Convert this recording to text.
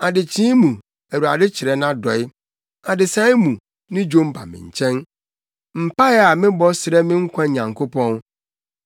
Adekyee mu, Awurade kyerɛ nʼadɔe, adesae mu, ne dwom ba me nkyɛn, mpae a mebɔ srɛ me nkwa Nyankopɔn.